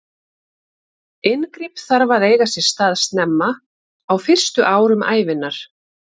Inngrip þarf að eiga sér stað snemma, á fyrstu árum ævinnar.